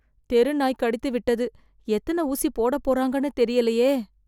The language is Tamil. தெரு நாய் கடித்து விட்டது எத்தன ஊசி போடப்பொறாங்கனு தெரியலையே